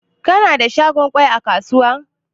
Kuna da shagon gwal a kasuwa?